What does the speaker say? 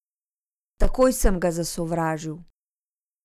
Takoj sem ga zasovražil.